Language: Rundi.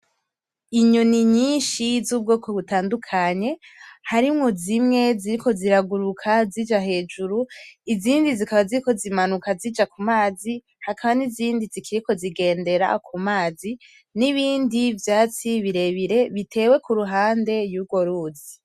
Inyoni nyinshi z'ubwoko butandukanye harimwo zimwe ziriko ziraguruka zija hejuru izindi zikaba ziriko zimanuka zija ku mazi hakaba nizindi zikiriko zigendera ku mazi n'ibindi vyatsi birebire bitewe kuruhande yurwo ruzi.